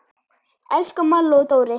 Elsku Malla og Dóri.